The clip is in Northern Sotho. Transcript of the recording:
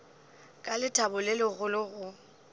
ka lethabo le legolo go